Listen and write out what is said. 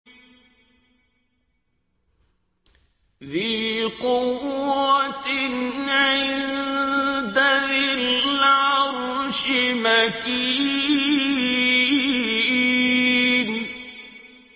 ذِي قُوَّةٍ عِندَ ذِي الْعَرْشِ مَكِينٍ